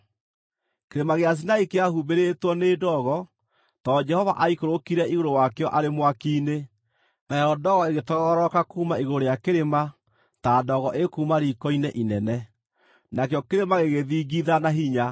Kĩrĩma gĩa Sinai kĩahumbĩrĩtwo nĩ ndogo, tondũ Jehova aikũrũkire igũrũ wakĩo arĩ mwaki-inĩ. Nayo ndogo ĩgĩtoogororoka kuuma igũrũ rĩa kĩrĩma ta ndogo ĩkuuma riiko-inĩ inene; nakĩo kĩrĩma gĩgĩthingitha na hinya,